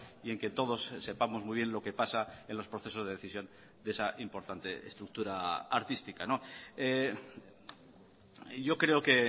y en que todos sepamos muy bien lo que pasa en los procesos de decisión de esa importante estructura artística yo creo que